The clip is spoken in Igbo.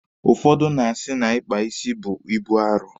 Ụfọdụ na-asị na Ịkpa isi bụ ibu arụ.